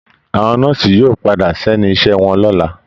Àwọn Nọ́ọ̀siì yóò padà sẹ́ni iṣẹ́ wọn lọ́la